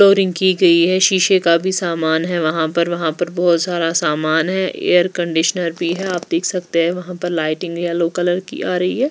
Flooring की गई है शीशे का भी सामान है वहाँ पर वहाँ पर बहुत सारा सामान है एयर कंडीशनर भी है आप देख सकते हैं वहाँ पर लाइटिंग येलो कलर की आ रही है।